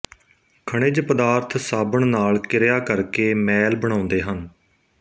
ਖਣਿਜ ਪਦਾਰਥ ਸਾਬਣ ਨਾਲ ਕਿਰਿਆ ਕਰ ਕੇ ਮੈਲ ਬਣਾਉਂਦੇ ਹਨ